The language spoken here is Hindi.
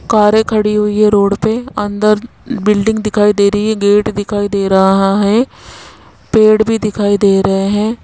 कारे खड़ी हुई है रोड पे अंदर बिल्डिंग दिखाई दे रही है गेट दिखाई दे रहा है पेड़ भी दिखाई दे रहे हैं।